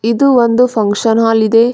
ಇದು ಒಂದು function hall ಇದೆ.